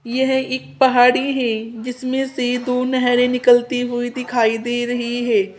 यह एक पहाड़ी है जिसमें से दो नहरे निकलती हुई दिखाई दे रही है।